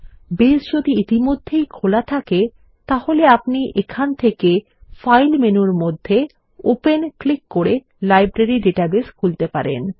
base যদি ইতিমধ্যেই খোলা থাকে তাহলে আপনি এখান থেকে ফাইল মেনুর মধ্যে ওপেন ক্লিক করে লাইব্রেরী ডাটাবেস খুলতে পারেন